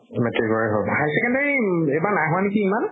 metric ৰে হওঁক, high secondary এইবাৰ নাই হোৱা নেকি ইমান?